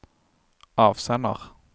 avsender